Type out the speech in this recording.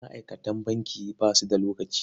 Ma'aikatan banki ba su da lokaci.